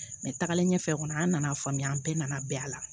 Mɛ tagalen ɲɛfɛ kɔni an nana faamuya an bɛɛ nana bɛn a la